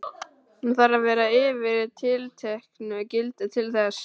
Hún þarf að vera yfir tilteknu gildi til þess.